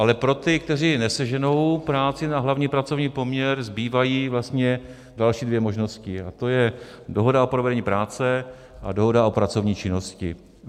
Ale pro ty, kteří neseženou práci na hlavní pracovní poměr, zbývají vlastně další dvě možnosti, a to je dohoda o provedení práce a dohoda o pracovní činnosti.